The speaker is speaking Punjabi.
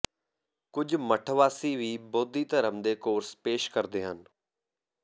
ਕੁਝ ਮੱਠਵਾਸੀ ਵੀ ਬੋਧੀ ਧਰਮ ਦੇ ਕੋਰਸ ਪੇਸ਼ ਕਰਦੇ ਹਨ